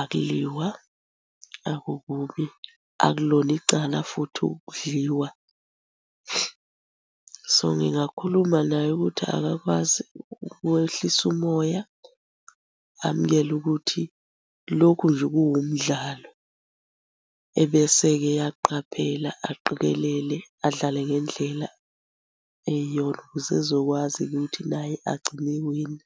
akuliwa, akukubi, akulona icala futhi ukudliwa. So, ngingakhuluma naye ukuthi akakwazi ukwehlisa umoya amukele ukuthi lokhu nje kuwumdlalo. Ebese-ke eyaqaphela, aqikelele, adlale ngendlela eyiyona ukuze ezokwazi ukuthi naye agcine ewina.